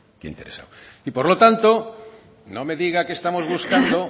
que ha interesado y por lo tanto no me diga que estamos buscando